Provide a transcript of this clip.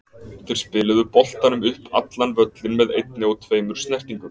Þeir spiluðu boltanum upp allan völlinn með einni og tveimur snertingum.